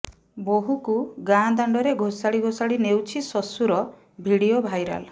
ବୋହୂକୁ ଗାଁ ଦାଣ୍ଡରେ ଘୋଷାଡି ଘୋଷାଡି ନେଉଛି ଶ୍ବଶୁର ଭିଡିଓ ଭାଇରାଲ୍